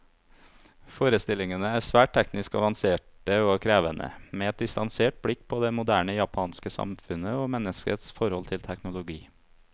Forestillingene er svært teknisk avanserte og krevende, med et distansert blikk på det moderne japanske samfunnet, og menneskets forhold til teknologi.